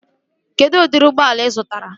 Kedụ udiri ụgbọala ị zụtara?